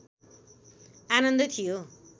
आनन्द थियो